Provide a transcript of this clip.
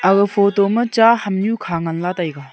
aga photo ma cha ham nyu kha nganla taiga.